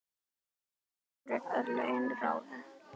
Þarna voru örlögin ráðin.